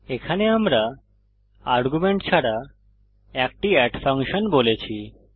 এখানে আমরা আর্গুমেন্ট ছাড়া একটি এড ফাংশন বলেছি